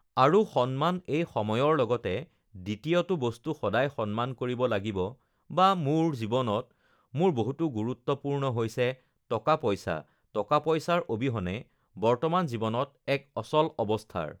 আৰু সন্মান এই সময়ৰ লগতে দ্বিতীয়টো বস্তু সদায় সন্মান কৰিব লাগিব বা মোৰ জীৱনত মোৰ বহুতো গুৰুত্বপূৰ্ণ হৈছে টকা-পইচা টকা-পইচাৰ অবিহনে বৰ্তমান জীৱনত এক অচল অৱস্থাৰ